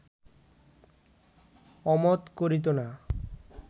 অমত করিত না